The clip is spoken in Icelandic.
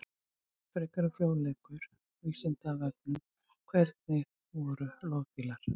Frekari fróðleikur á Vísindavefnum: Hvernig voru loðfílar?